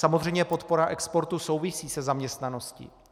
Samozřejmě podpora exportu souvisí se zaměstnaností.